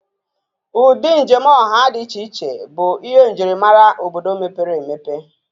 Ụdị njem ọha dị iche iche bụ ihe njirimara obodo mepere emepe